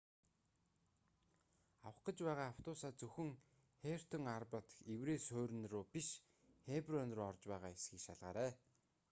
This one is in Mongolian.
авах гэж байгаа автобусаа зөвхөн хертон арба дахь еврей суурин руу биш хеброн руу орж байгаа эсэхийг шалгаарай